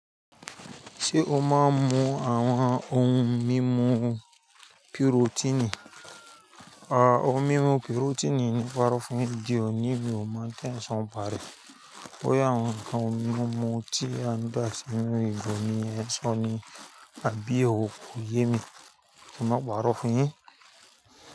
Ṣé o máa ń mu àwọn ohun mímu pirotíìnì? À, ohun mímu pirotíìnì ni mo fárọ̀ fún ẹ diẹ, òní mi ò mọ̀ pé ń ṣàn bàárì. Boya awon ohun mímu tí a ní dá ṣi nú ìgò ni ẹ nso ni, àbí ò ko yemi? Ki máa pàrọ̀ fún ẹ.